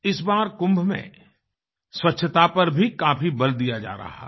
इस बार कुंभ में स्वच्छता पर भी काफी बल दिया जा रहा है